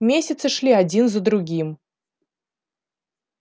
месяцы шли один за другим